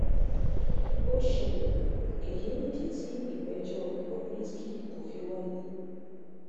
ó ṣẹlẹ̀ èyí nìdí tí ìgbẹ́jọ́ cs] bob risky kò fi wáyé